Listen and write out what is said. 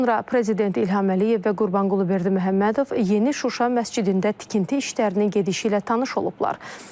Sonra Prezident İlham Əliyev və Qurbanqulu Berdiməhəmmədov Yeni Şuşa məscidində tikinti işlərinin gedişi ilə tanış olublar.